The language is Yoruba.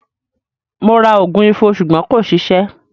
Mo ra ògùn Ifo ṣùgbọ́n kò ṣiṣẹ́.